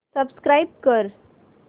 subscribe कर